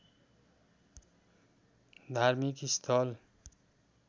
धार्मिक स्थल